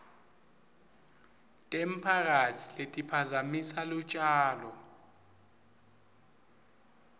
temphakatsi letiphazamisa lutjalo